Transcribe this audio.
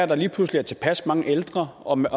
der lige pludselig er tilpas mange ældre og man